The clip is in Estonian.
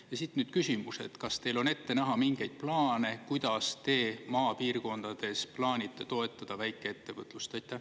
Ja siit nüüd küsimus: kas teil on ette näha mingeid plaane, kuidas te maapiirkondades plaanite toetada väikeettevõtlust?